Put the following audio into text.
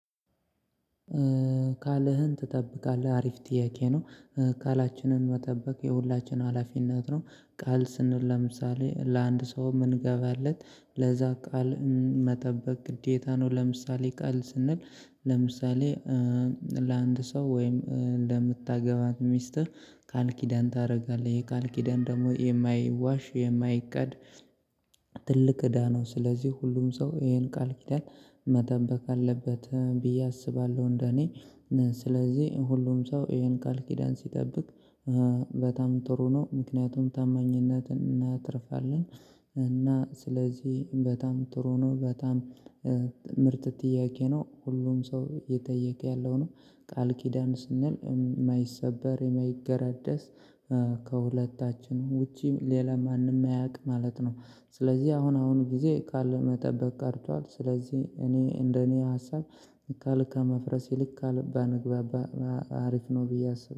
ቃልህን ትጠብቃለህ? አሪፍ ጥያቄ ነው። ቃላችንን መጠበቅ የሁላችንም ሀላፊነት ነው። ቃል ስንል ለምሳሌ ለአንድ ሰው ምንገባለት ለዛ ቃል መጠበቅ ግዴታ ነው። ለምሳሌ ቃል ስንል ለምሳሌ ለአንድ ሰው ወይም ለምታገባት ሚስትህ ቃልኪዳን ታደርጋለህ የቃልኪዳን ደግሞ የማይዋሽ የማይካድ። ትልቅ እዳ ነው ስለዚህ ሁሉም ሰው ይሄን ቃል ኪዳን መጠበቅ አለበት ብዬ አስባለሁ። እንደኔ ስለዚህ ሁሉም ሰው ይሄን ቃል ኪዳን ሲጠብቅ በጣም ጥሩ ነው። ምክንያቱም ታማኝነትን እናትርፋለን። እና ስለዚህ በጣም ጥሩ ነው። በጣም ምርጥ ጥያቄ ነው። ሁሉም ሰው እየጠየቀ ያለው ነው። ቃል ኪዳን ስንል የማይሰበር የማይገራደስ ከሁለታችን ውጪ ሌላ ማንም ማያውቅ ማለት ነው። ስለዚህ አሁን አሁን ጊዜ ቃል መጠበቅ ቀርቷል። ስለዚህ እኔ እንደኔ ሀሳብ። ቃል ከማፍረስ ይልቅ ቃል ባንግባባ አሪፍ ነው ብዬ አስብ